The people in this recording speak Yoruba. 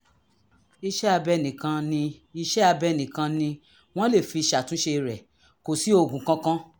iṣẹ́-abẹ nìkan ni iṣẹ́-abẹ nìkan ni wọ́n lè fi ṣàtúnṣe rẹ̀; kò sí oògùn kankan